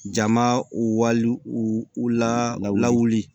Jama u wali u la u lawuli